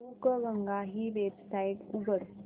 बुकगंगा ही वेबसाइट उघड